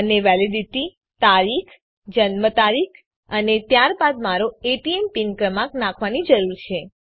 મને વેલીડીટી તારીખ જન્મ તારીખ અને ત્યારબાદ મારો એટીએમ પીન ક્રમાંક નાખવાની જરૂર છે